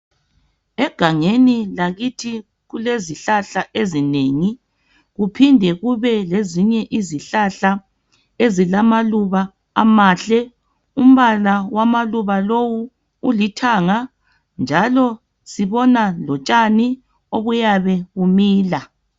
Egangeni lakithi kulezihlahla ezinengi kuphinde kube lezinye izihlahla ezilamaluba amahle umbala wamaluba lowu ulithanga njalo sibona lotshani obuyabe bumila.